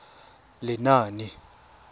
lenaane